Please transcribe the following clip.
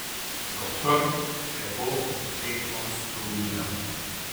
Doktor te bo dekonstruiral.